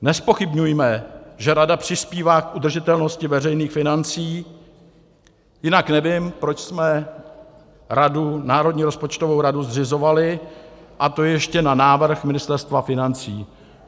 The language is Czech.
Nezpochybňujme, že rada přispívá k udržitelnosti veřejných financí, jinak nevím, proč jsme radu, Národní rozpočtovou radu, zřizovali, a to ještě na návrh Ministerstva financí.